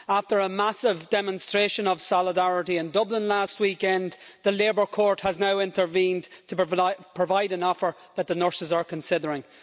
After a massive demonstration of solidarity in Dublin last weekend, the Labour Court has now intervened to provide an offer that the nurses are considering.